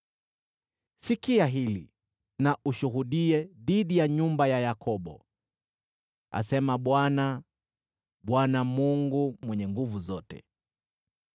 “Sikia hili na ushuhudie dhidi ya nyumba ya Yakobo,” asema Bwana, Bwana Mungu Mwenye Nguvu Zote.